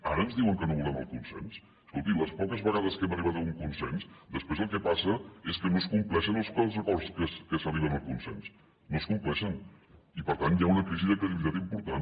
ara ens diuen que no volem el consens escolti les poques vegades que hem arribat a un consens després el que passa és que no es compleixen els acords a què s’arriba amb el consens no es compleixen i per tant hi ha una crisi de credibilitat important